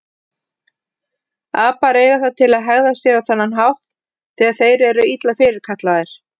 Apar eiga það til að hegða sér á þennan hátt þegar þeir eru illa fyrirkallaðir.